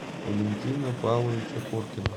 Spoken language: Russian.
валентина павловича коркина